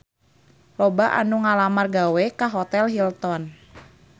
Loba anu ngalamar gawe ka Hotel Hilton